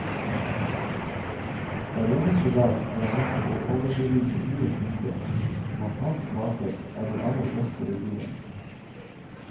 Hver eneste dag er han nødt til å overbevise nye kunder om at hans kaker er de aller beste i byen.